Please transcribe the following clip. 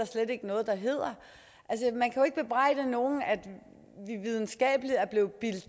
slet ikke noget der hedder man kan jo ikke bebrejde nogen at vi videnskabeligt er blevet bildt